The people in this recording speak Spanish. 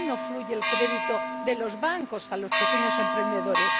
¿Por qué no fluye el crédito de los bancos a los pequeños emprendedores?